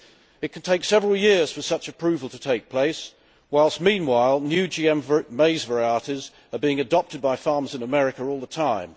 It can take several years for such approval to take place whilst, meanwhile, new GM maize varieties are being adopted by farms in America all the time.